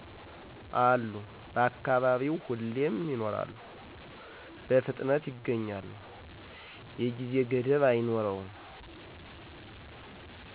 አሉ በአካባቢው ሁሌም ይኖራሉ፣ በፊጥነት ይገኛሉ፣ የጊዜ ገደብ አይኖርም።